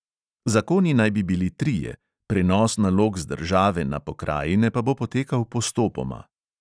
Zakoni naj bi bili trije, prenos nalog z države na pokrajine pa bo potekal postopoma.